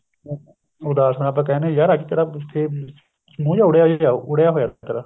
ਅਹ ਉਦਾਸ ਨੂੰ ਆਪਾਂ ਕਹਿਨੇ ਹਾਂ ਯਾਰ ਅੱਜ ਤੇਰਾ ਮੂੰਹ ਜਾ ਉੱਡਿਆ ਜਿਹਾ ਉੱਡਿਆ ਹੋਇਆ ਤੇਰਾ